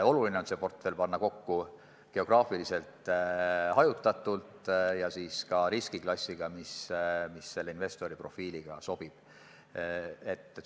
Oluline on panna see portfell kokku geograafiliselt hajutatult ja sellise riskiklassiga, mis investori profiiliga sobib.